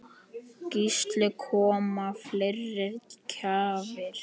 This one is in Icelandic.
Gísli: Koma fleiri gjafir?